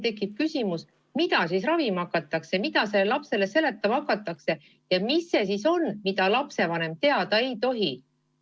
Tekib küsimus, et mida siis ravima hakatakse, mida sellele lapsele seletama hakatakse ja mis on see, mida lapsevanem teada ei tohi.